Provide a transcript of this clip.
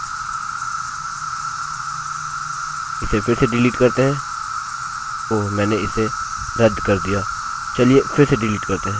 इसे फिर से डिलीट करते हैं ओह ! मैंने इसे रद्दकैन्सल कर दिया चलिए फिर से डिलीट करते हैं